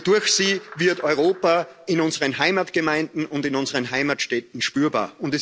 Durch sie wird Europa in unseren Heimatgemeinden und in unseren Heimatstädten spürbar.